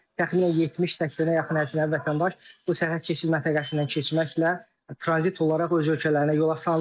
Təxminən 70-80-ə yaxın əcnəbi vətəndaş bu sərhəd keçid məntəqəsindən keçməklə tranzit olaraq öz ölkələrinə yola salındılar.